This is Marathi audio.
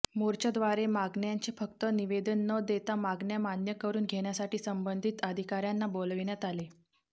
मोर्चाद्वारे मागण्यांचे फक्त निवेदन न देता मागण्या मान्य करून घेण्यासाठी संबंधित अधिकाऱयांना बोलविण्यात आले